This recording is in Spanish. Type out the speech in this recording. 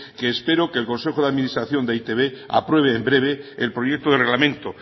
que espero que el consejo de administración de e i te be apruebe en breve el proyecto de reglamento